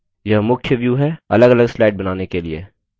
यह मुख्य view है अलगअलग slides बनाने के लिए